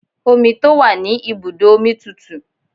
Omi tó wà ní ibùdó omi tùtù.